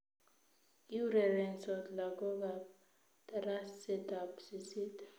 Iurerensot lagook kab tarasetab sisit